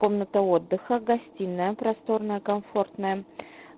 комната отдыха гостиная просторная комфортная